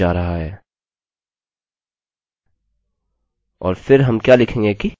और फिर हम क्या लिखेंगे कि visitors